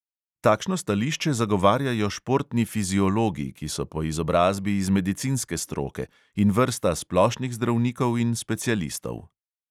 Takšno stališče zagovarjajo športni fiziologi, ki so po izobrazbi iz medicinske stroke, in vrsta splošnih zdravnikov in specialistov.